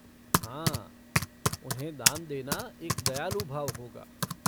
हाँ, उन्हें दान देने एक दयालु भाव होगा।